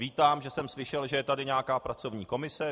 Vítám, že jsem slyšel, že je tady nějaká pracovní komise.